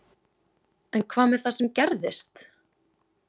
En hvað með það sem gerðist?